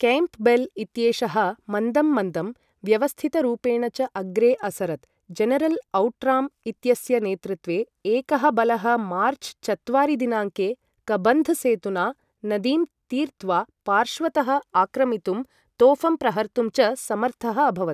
Campbell इत्येषः मन्दं मन्दं, व्यवस्थितरूपेण च अग्रे असरत्, जनरल् औट्राम् इत्यस्य नेतृत्वे एकः बलः मार्च् चत्वारि दिनाङ्के कबन्ध सेतुना नदीं तीर्त्वा पार्श्वतः आक्रमितुं तोफं प्रहर्तुं च समर्थः अभवत्।